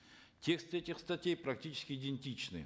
тексты этих статей практически идентичны